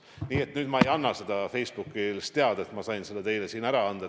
Nii et nüüd ma ei anna seda Facebookis teada, ma sain seda teile siin teatada.